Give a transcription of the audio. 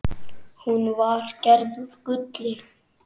Hún var gerð úr gulli.